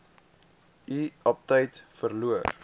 u aptyt verloor